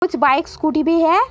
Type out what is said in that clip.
कुछ bikes scooty भी है।